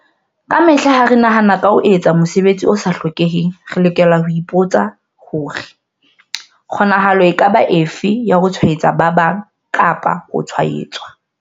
Kamehla ha re nahana ka ho etsa mosebetsi o sa hlokeheng, re lokela ho ipo tsa hore- kgonahalo e ka ba efe ya ho tshwaetsa ba bang kapa ho tshwaetswa?